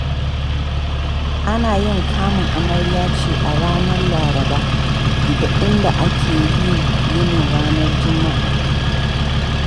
Ana yin kamun amarya ce a ranar Laraba, inda ake yin yini ranar Juma'a.